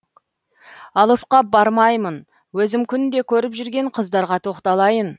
алысқа бармайын өзім күнде көріп жүрген қыздарға тоқталайын